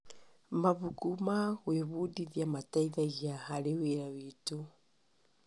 Mabuku ma gwĩbundithia mateithagi harĩ wĩra witũ.